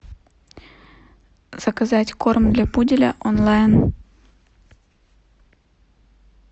заказать корм для пуделя онлайн